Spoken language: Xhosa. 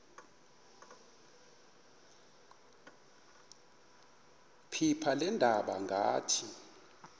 phepha leendaba ngathi